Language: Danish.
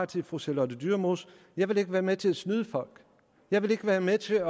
til fru charlotte dyremose jeg vil ikke være med til at snyde folk jeg vil ikke være med til at